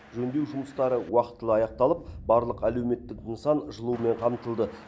жөндеу жұмыстары уақытылы аяқталып барлық әлеуметтік нысан жылумен қамтылды